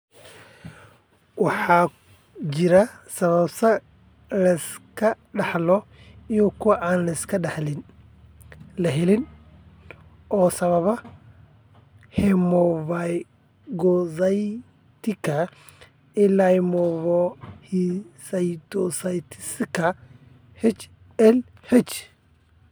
Waxa jira sababo la iska dhaxlo iyo kuwa aan la iska dhaxlin (la helin) oo sababa hemophagocytika lymphohistiocytosika (HLH).